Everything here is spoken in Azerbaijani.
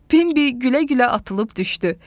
Pinbi gülə-gülə atılıb düşdü.